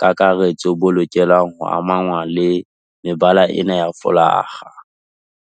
kakaretso bo lokelang ho amangwa le mebala ena ya folakga.